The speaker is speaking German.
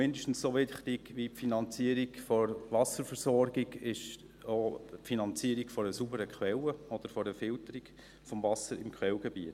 Denn: Mindestens so wichtig wie die Finanzierung der Wasserversorgung ist auch die Finanzierung einer sauberen Quelle oder einer Filterung des Wassers im Quellgebiet.